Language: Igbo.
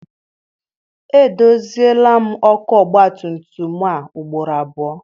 Edoziela m ọkụ ọgbatumtum a ugboro abụọ.